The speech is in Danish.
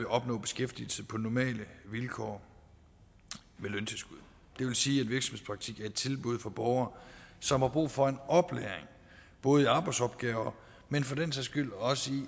opnå beskæftigelse på normale vilkår med løntilskud det vil sige at et tilbud for borgere som har brug for en oplæring både i arbejdsopgaver men for den sags skyld også i